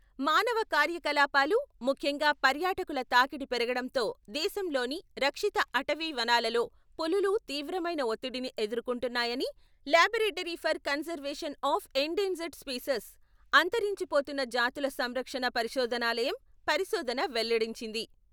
మానవ కార్యకలాపాలు, ముఖ్యంగా పర్యాటకుల తాకిడి పెరగడంతో దేశంలోని రక్షిత అటవీ వనాలలో పులులు తీవ్రమైన ఒత్తిడిని ఎదుర్కొంటున్నాయని laboratory for conservation of endangered species అంతరించిపోతున్న జాతుల సంరక్షణ పరిశోధనాలయం, పరిశోధన వెల్లడించింది.